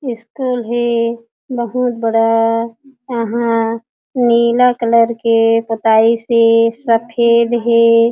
School हे बहुत बड़ा यहाँ नीला कलर के पोताईस हे सफ़ेद हे।